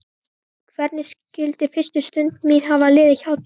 Hvernig skyldi fyrsta stund mín hafa liðið hjá þér?